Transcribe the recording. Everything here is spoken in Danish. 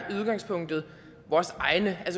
vores egne jeg